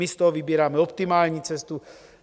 My z toho vybíráme optimální cestu.